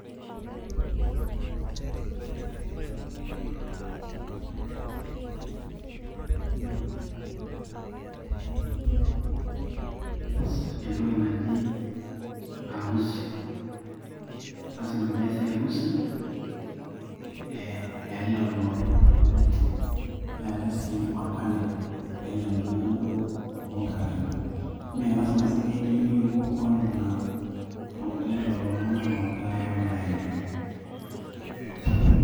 naaa aaa keng'asi aas entiki naji arusi lazima peesi arusi ee eelelo tung'anak ooyama neetai sii orpanel eelelo tung'anak duo oogira aayama naa lazima sii peetio intoiwuo onena olelo tung'anak pokira are oogira aayama .